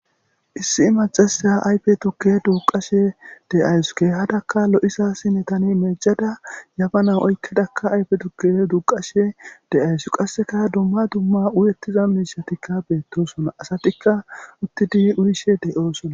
Issi macasya ayfe tukke duuqashe de7aysuke hadakka lo7isa sine tani meejada yabana oykkedakka ayfe tukke duuqashe de7aysu qasseka dumma dumma uyettiza miishatikka beettosona asatikka uttidi urishe deyoosona.